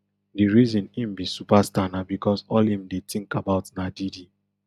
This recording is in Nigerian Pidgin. di reason im be superstar na becos all im dey think about na diddy